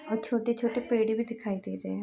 और छोटे - छोटे पेड़ भी दिखाइ दे रहे हैं।